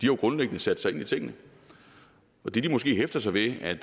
jo grundlæggende sat sig ind i tingene og det de måske hæfter sig ved er